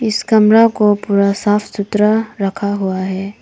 इस कमरा को पूरा साफ सुथरा रखा हुआ है।